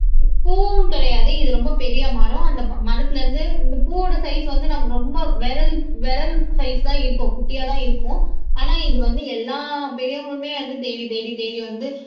பூவும் கிடையாது இது ரொம்ப பெரிய மரம் அந்த ம மரத்துல இருந்து இந்த பூவோட சைஸ் வந்து நம்ம ரொம்ப விரல் விரல் சைஸ் தான் இருக்கும் குட்டியாதான் இருக்கும் ஆனா இது வந்து எல்லா பெரியவங்களுமே வந்து தேடி தேடி தேடி வந்து